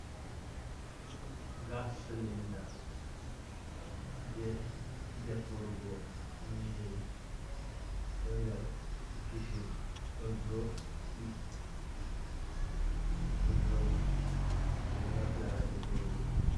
Gas silinda, je defurgo nyiri ɗo nɗer kishin ɗo joɗi, ɗo joɗi ɓeɗo naftira ha defurgo.